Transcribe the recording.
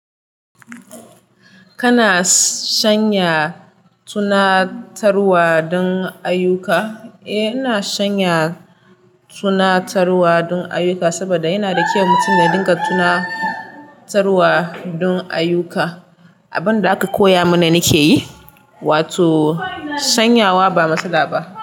Kana sanya tunatarwa don ayyuka? Eh, ina sanya tunatarwa don ayyuka saboda yana da kyau mutum ya dinga tuna tarwa don ayyuka. Abin da aka koya mana nike yi, wato sanyawa ba matsala ba.